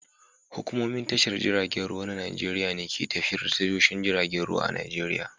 Hukumomin tashar jiragen ruwa na Najeriya ne ke tafiyar da tashoshin jiragen ruwa a Nijeriya.